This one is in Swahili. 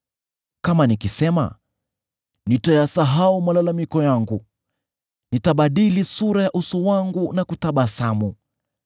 Kama nikisema, ‘Nitayasahau malalamiko yangu, nitabadili sura ya uso wangu na kutabasamu,’